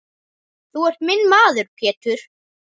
Þú ert minn maður Pétur.